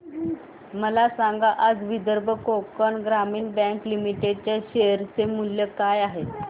मला सांगा आज विदर्भ कोकण ग्रामीण बँक लिमिटेड च्या शेअर चे मूल्य काय आहे